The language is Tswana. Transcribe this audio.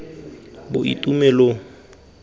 boitumelong